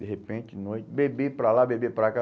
De repente, de noite, bebê para lá, bebê para cá.